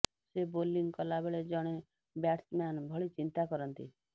ସେ ବୋଲିଂ କଲାବେଳେ ଜଣେ ବ୍ୟାଟ୍ସମ୍ୟାନ ଭଳି ଚିନ୍ତା କରନ୍ତି